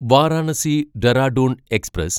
Varanasi Dehradun express